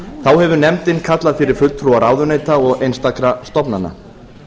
þá hefur nefndin kallað fyrir fulltrúa ráðuneyta og einstakra stofnana